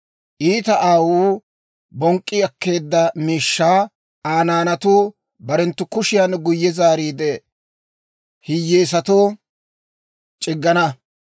Iita aawuu bonk'k'i akkeedda miishshaa Aa naanatuu barenttu kushiyan guyye zaariide hiyeesatoo c'iggana.